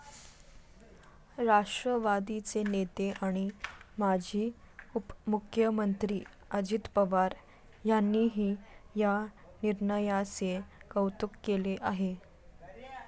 राष्ट्रवादीचे नेते आणि माजी उपमुख्यमंत्री अजित पवार यांनीही या निर्णयाचे कौतुक केले आहे.